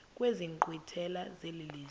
kwezi nkqwithela zelizwe